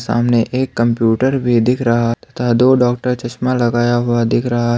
सामने एक कंप्यूटर भी दिख रहा तथा दो डॉक्टर चश्मा लगाया हुआ दिख रहा है।